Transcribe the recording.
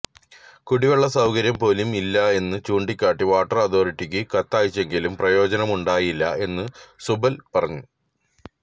കുടിവെള്ള സൌകര്യം പോലും ഇല്ല എന്ന് ചൂണ്ടിക്കാട്ടി വാട്ടര് അഥോറിറ്റിയ്ക്ക് കത്തയച്ചെങ്കിലും പ്രയോജനമുണ്ടായില്ല എന്ന് സുബല് പറഞ്ഞു